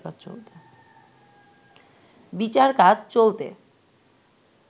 বিচার কাজ চলতে